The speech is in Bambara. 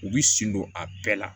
U bi sen don a bɛɛ la